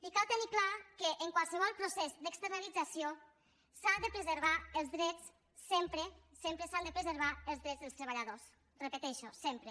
i cal tenir clar que en qualsevol procés d’externalització s’ha de preservar els drets sempre sempre s’han de preservar els drets dels treballadors ho repeteixo sempre